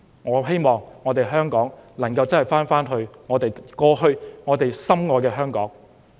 我希望香港能夠變回過去我們深愛的那個香港。